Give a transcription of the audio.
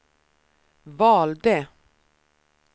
valde